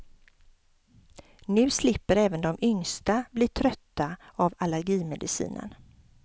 Nu slipper även de yngsta bli trötta av allergimedicinen.